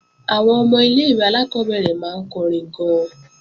Àwọn ọmọ ilé-ìwé alákọ́bẹ̀rẹ̀ máa ń kọrin gan-an